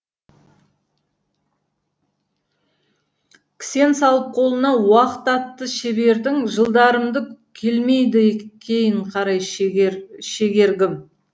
кісен салып қолына уақыт атты шебердің жылдарымды келмейді кейін қарай шегергім